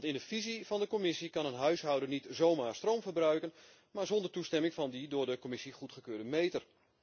In de visie van de Commissie kan een huishouden namelijk niet zomaar stroom verbruiken zonder toestemming van die door de Commissie goedgekeurde meter.